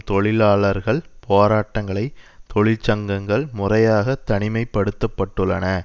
தொழிலாளர்கள் போராட்டங்களை தொழிற்சங்கங்கள் முறையாக தனிமைப் படுத்தப்பட்டுள்ளன